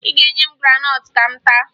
Ị ga-enye m graanọtụ ka m taa